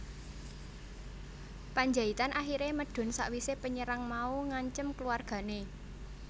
Pandjaitan akhiré medun sawisé penyerang mau ngancem keluargané